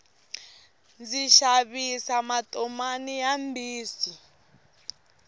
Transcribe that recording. ndzi xavisa matomani ya mbisi